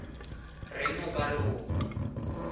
reng o ka re o